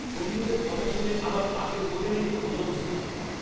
বন্ধুদের কথা শুনে আমার পাশের হোটেলেই ওঠা উচিত ছিল।